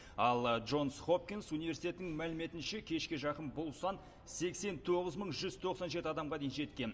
ал джонс хопкинс университетінің мәліметінше кешке жақын бұл сан сексен тоғыз мың жүз тоқсан жеті адамға дейін жеткен